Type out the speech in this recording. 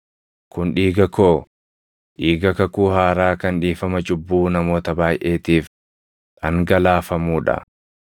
Kun dhiiga koo, dhiiga kakuu haaraa kan dhiifama cubbuu namoota baayʼeetiif dhangalaafamuu dha.